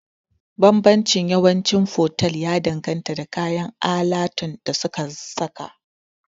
Banbancin yawanci fotel ya danganta da kayan alatun da suka saka